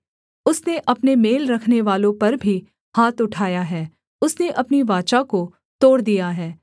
उसने अपने मेल रखनेवालों पर भी हाथ उठाया है उसने अपनी वाचा को तोड़ दिया है